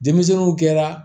Denmisɛnninw kɛra